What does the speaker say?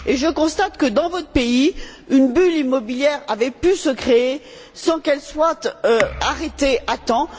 Et je constate que, dans votre pays, une bulle immobilière avait pu se créer sans qu'elle soit arrêtée à temps.